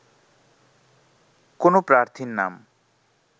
কোনো প্রার্থীর নাম